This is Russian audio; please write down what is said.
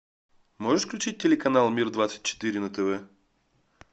можешь включить телеканал мир двадцать четыре на тв